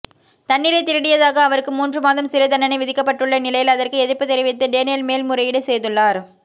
தண்ணீரை திருடியதாக அவருக்கு மூன்று மாதம் சிறை தண்டனை விதிக்கப்பட்டுள்ள நிலையில் அதற்கு எதிர்ப்பு தெரிவித்து டேனியல் மேல்முறையீடு செய்துள்ளார்